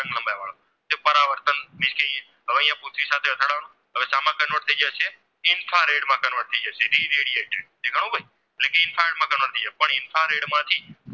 Convert થાય જશે infrared માં Convert થાય જશે ઈરેડીયેટર એટલે કે infrared માં Convert થાય જશે પણ infrared માંથી